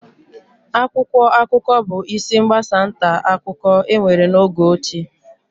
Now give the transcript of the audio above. Akwụkwọ akụkọ bụ isi mgbasa nta akụkọ enwere n'oge ochie